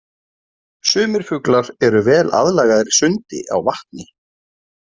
Sumir fuglar eru vel aðlagaðir sundi á vatni.